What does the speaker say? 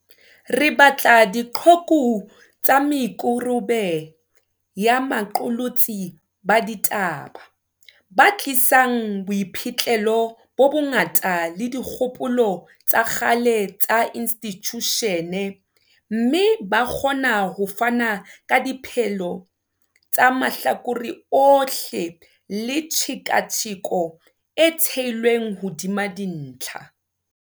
Re batla diqhoku tsa me kaubere ya baqolotsi ba di taba, ba tlisang boiphihlelo bo bongata le dikgopolo tsa kgale tsa institjushene, mme ba kgona ho fana ka dipehelo tsa mahlakore ohle le tshe katsheko e theilweng hodima dintlha.